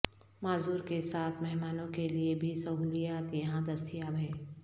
معذور کے ساتھ مہمانوں کے لئے بھی سہولیات یہاں دستیاب ہیں